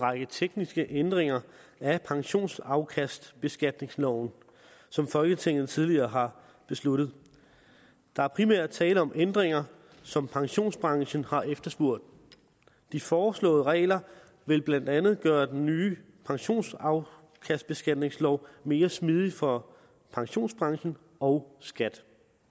række tekniske ændringer af pensionsafkastbeskatningsloven som folketinget tidligere har besluttet der er primært tale om ændringer som pensionsbranchen har efterspurgt de foreslåede regler vil blandt andet gøre den nye pensionsafkastbeskatningslov mere smidig for pensionsbranchen og skat